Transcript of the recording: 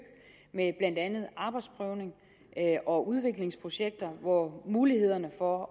med blandt andet arbejdsprøvning og udviklingsprojekter hvor mulighederne for